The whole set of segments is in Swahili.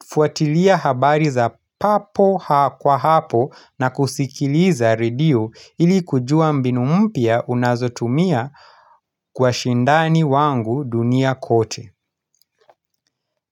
ufuatilia habari za papo kwa hapo na kusikiliza redio ili kujua mbinu mpya unazotumia kwa shindani wangu dunia kote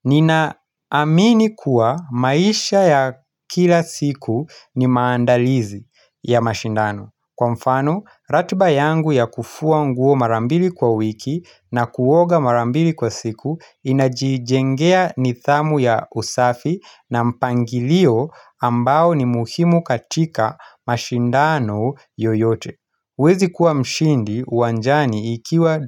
Nina amini kuwa maisha ya kila siku ni maandalizi ya mashindano Kwa mfano, ratba yangu ya kufua nguo marambili kwa wiki na kuoga marambili kwa siku inajijengea nithamu ya usafi na mpangilio ambao ni muhimu katika mashindano yoyote uWezi kuwa mshindi uwanjani ikiwa.